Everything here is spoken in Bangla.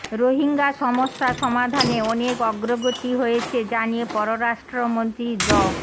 রোহিঙ্গা সমস্যা সমাধানে অনেক অগ্রগতি হয়েছে জানিয়ে পররাষ্ট্রমন্ত্রী ড